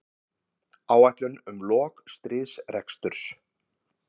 Áætlun um lok stríðsreksturs